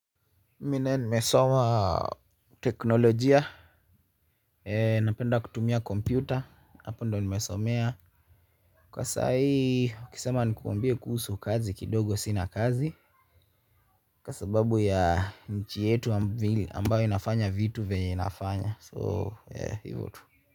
Mimi nae nimesoma teknolojia. Napenda kutumia kompyuta, hapo ndo nimesomea kwa saa iukisema nikuambie kuhusu kazi kidogo sina kazi kwa sababu ya nchi yetu ambayo inafanya vitu venye inafanya, so hivo tu.